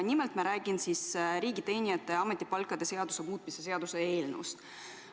Nimelt räägin ma riigiteenijate ametipalkade seaduse muutmise seaduse eelnõust.